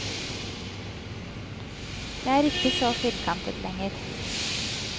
Jeg er ikke så firkantet lenger.